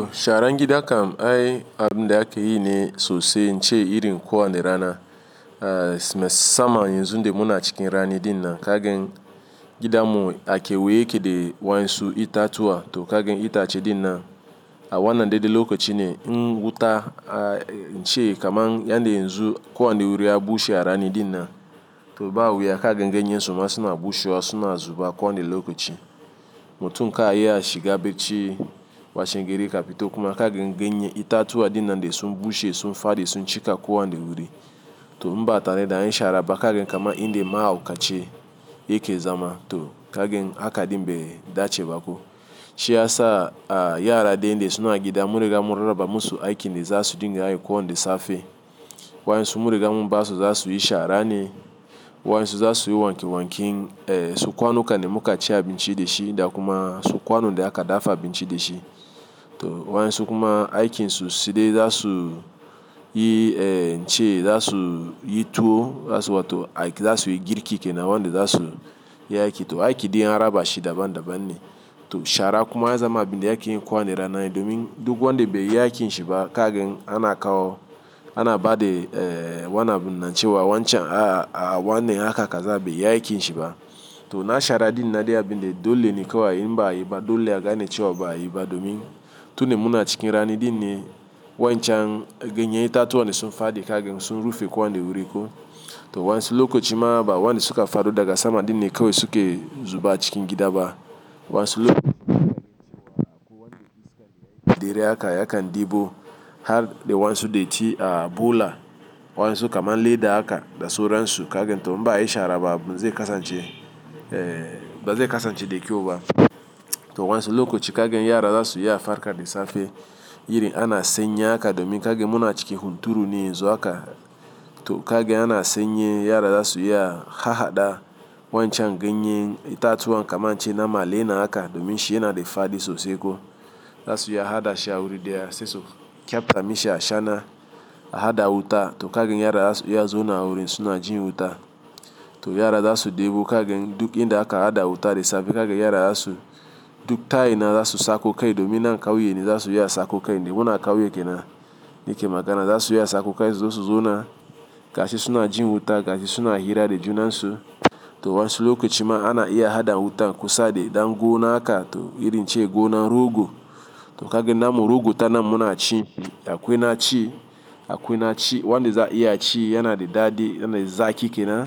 To sharan gida kam, ai abun de aka yi ne sosai inche iri kuwanne rana. Eh, musamman yanzu de muna cikin rani din nan, kagen gida mu ake weyeke de wayansu ita tuwa to kagen itace din nan. A wannan dai dai lokoci ne, in wuta a inche kama yande yanzu kuwa ndi wuri abu she arani din nan. To ba wuya kagen ganye suma suna bushewa suna zuba kuwanne lokoci. Mutum ka iya shiga bacci washin gari ka fot kuma kagen ganye ita tuwa din nan de sun bushe sun fade sun cika kuwanne wuri. To umba atare da an yi shara ba kagen kama inde mahaukace yake zama to kagen aka din bai dace bako. Shi yasa a yara de inde suna gida, munriga mu rarraba ba musu aiki ne za su dinga yi kuwa ndi safe. Wayansu munriga mu basu za su yi shara ne, wayansu za su yi wanke wanke, eh sukwanu kan muka ci abin ci de shi da kuma sukwano de aka dafa abin ci de shi. To wayannsu kuma aikinsu side za su yi eh inche za su yi tuwo za su wato za su yi girki ke na wande za su yi aiki. To aiki de ij an raba shi daban daban ne. To shara kuma ya zama abin de ake yin kuwa kowanne raana ne domin duk wande bai yi aikin shi ba kagen ana kawo, ana ba de eh wanan binna cewa wancan a wanne haka kaza bai yi aikin shi ba. To na shara din na de abin de dole ne kawai n ba a yiba, dole ya gane cewa ba a yiba domin tunin muna cikin rani din ne wancan ganye ita tuwa ne sun fade kagen sun rufe kuwa kowanne wuri ko. To wansu lokoci ma ba wande suka fado daga sama din ne kawai suke zuba cikin gida ba. Wansu lokoci dere aka yakan debo har de wansu de ci a bula, wansu kama leda aka da suransu kagen to mba yi shara ba abu ba zai kasance, eh ba zai kasance de kyau ba. To wansu lokoci kagen yara za su yi afarka de safe, iri ana sanyi haka domin kagen muna cikin hunturu ne yanzu aka to kagen ana senye yara za su yi a hahada wancan ganye ita tuwa kama inche na male na aka domin shi yana de fade sosai ko. Za su yi a hada shi a wuri de ya saso, kyafta mishi a shana a hada wuta to kagen yara za su, ya zo na wuri suna jin wuta. To yara za su debo kagen duk inde aka hada wuta de safe kagen yara za su duk tayi na za su sako kai domin nan kawo yini za su yi a sako kai de muna kawo yake na, yake magana za su yi a sako kai sosu zo na, gashi suna jin wuta gashi suna hira de juna su. To wansu lokoci ma ana iya hada wuta kusa de dangona aka to iri nche gona rogo. To kagen namu rogo ta namu na ci, akwai na ci, akwai na ci, wande za a iya ci yana de daɗi yana de zaki ke na.